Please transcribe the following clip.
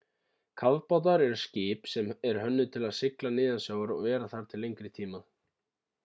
kafbátar eru skip sem eru hönnuð til að sigla neðansjávar og vera þar til lengri tíma